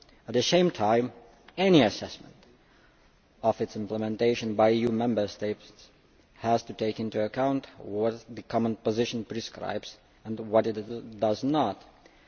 At the same time, any assessment of its implementation by the EU Member States has to take into account what the common position prescribes and what it does not prescribe.